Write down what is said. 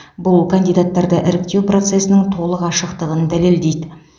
бұл кандидаттарды іріктеу процесінің толық ашықтығын дәлелдейді